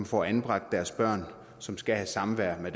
får anbragt deres børn som skal have samvær med